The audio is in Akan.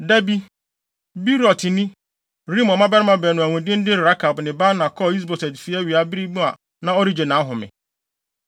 Da bi, Beerotni, Rimon mmabarima baanu a wɔn din de Rekab ne Baana kɔɔ Is-Boset fi awia bere mu a na ɔregye nʼahome.